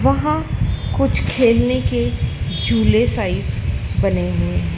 वहां कुछ खेलने के झूले साइज बने हैं।